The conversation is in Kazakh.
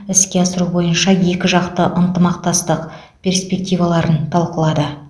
іске асыру бойынша екіжақты ынтымақтастық перспективаларын талқылады